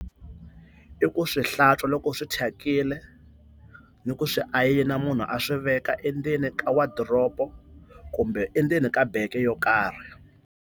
I ku swi hlantswa loko swi thyakile ni ku swi ayina munhu a swi veka endzeni ka wadoropo kumbe endzeni ka beke yo karhi.